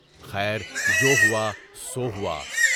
خیر جو ہوا سو ہوا۔